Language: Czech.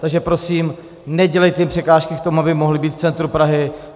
Takže prosím, nedělejte jim překážky k tomu, aby mohli být v centru Prahy.